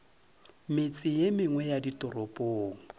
metse ye mengwe ya ditoropong